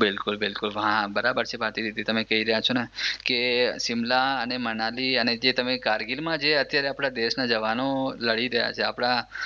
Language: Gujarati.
બિલકુલ બિલકુલ હા બરાબર છે ભારતીદીદી તમે કહી રહ્યા છો ને કે સિમલા અને મનાલી અને જે તમે કારગિલમાં જે આપણા દેશના જવાનો લડી રહ્યા છે